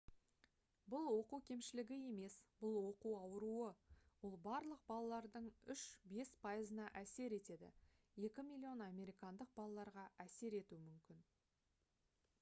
бұл оқу кемшілігі емес бұл оқу ауруы. ол «барлық балалардың 3-5 пайызына әсер етеді 2 миллион американдық балаларға әсер етуі мүмкін»